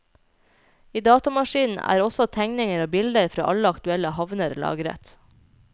I datamaskinen er også tegninger og bilder fra alle aktuelle havner lagret.